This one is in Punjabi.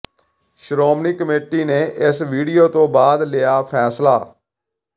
ਸ਼੍ਰੋਮਣੀ ਕਮੇਟੀ ਨੇ ਇਸ ਵੀਡੀਓ ਤੋਂ ਬਾਅਦ ਲਿਆ ਫੈਸਲਾ